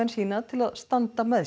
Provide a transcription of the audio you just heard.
sína til að standa með